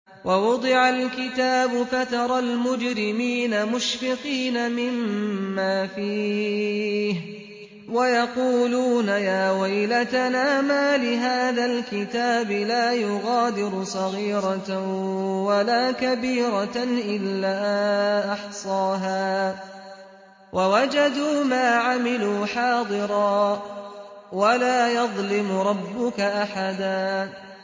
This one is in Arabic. وَوُضِعَ الْكِتَابُ فَتَرَى الْمُجْرِمِينَ مُشْفِقِينَ مِمَّا فِيهِ وَيَقُولُونَ يَا وَيْلَتَنَا مَالِ هَٰذَا الْكِتَابِ لَا يُغَادِرُ صَغِيرَةً وَلَا كَبِيرَةً إِلَّا أَحْصَاهَا ۚ وَوَجَدُوا مَا عَمِلُوا حَاضِرًا ۗ وَلَا يَظْلِمُ رَبُّكَ أَحَدًا